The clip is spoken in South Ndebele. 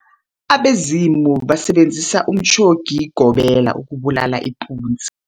Abazumi basebenzise umtjhobigobela ukubulala ipunzi.